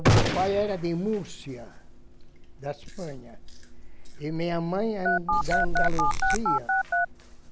O meu pai era de Múrcia, da Espanha, e minha mãe Andaluzia.